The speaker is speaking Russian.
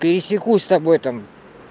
пересекусь с тобой там